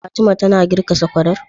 Fatima tana girka sakwarar?